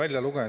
Aitäh!